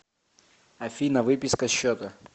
афина выписка счета